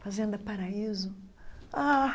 Fazenda Paraíso ah.